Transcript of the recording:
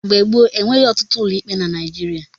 Mgbe gbop, enweghị ọtụtụ ụlọikpe na Naijiria.